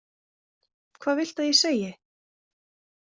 Hvað viltu ég segi?